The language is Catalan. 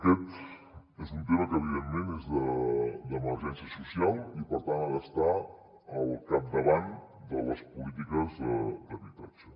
aquest és un tema que evidentment és d’emergència social i per tant ha d’estar al capdavant de les polítiques d’habitatge